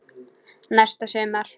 Næsta sumar.